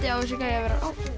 á þessi gæi að vera